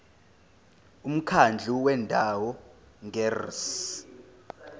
umkhandlu wendawo ngerss